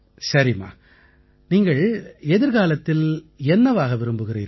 சரிம்மா நீங்கள் எதிர்காலத்தில் என்னவாக விரும்புகிறீர்கள்